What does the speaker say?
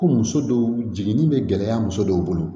Ko muso dɔw jiginni bɛ gɛlɛya muso dɔw bolo